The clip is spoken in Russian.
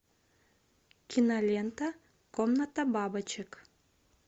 кинолента комната бабочек